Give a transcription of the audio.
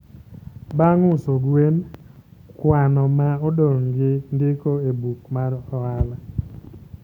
Bang' uso gwen, kwano ma odong' gi ndiko e buk mar ohala